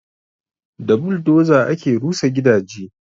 Da buldoza ake rusa gidaje